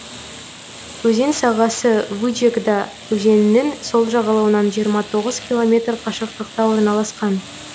өзен сағасы вычегда өзенінің сол жағалауынан жиырма тоғыз километр қашықтықта орналасқан